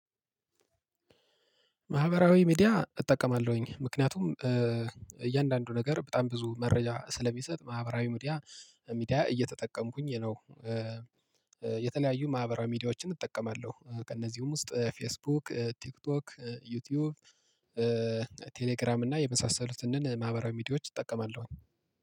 ማህበራዊ ሚዲያ እጠቀማለሁኝ ምክንያቱም እያንዳንዱ ነገር በጣም ብዙ መረጃ ስለሚሰጥ ማህበራዊ ሚዲያ እየተጠቀምኩኝ ነው። የተለያዩ ማህበራዊ ሚዲያዎችን እጠቀማለሁ ከእነዚህም ውስጥ ፌስቡክ ቲክቶክ ዩቲዩብ ቴሌግራም እና የመሳሰሉትን ማህበራዊ ሚዲያዎች እጠቀማለሁ።